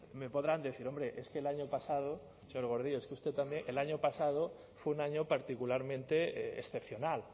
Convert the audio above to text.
me podrán decir hombre es que el año pasado señor gordillo es que usted también el año pasado fue un año particularmente excepcional